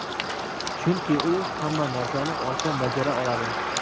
Chunki u hamma narsani oson bajara oladi.